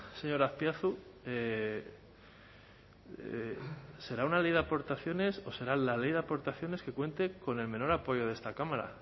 señor azpiazu será una ley de aportaciones o será la ley de aportaciones que cuente con el menor apoyo de esta cámara